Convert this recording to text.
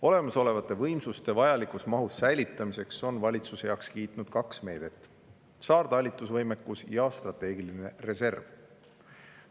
Olemasolevate võimsuste vajalikus mahus säilitamiseks on valitsus heaks kiitnud kaks meedet: saartalitlusvõimekus ja strateegiline reserv.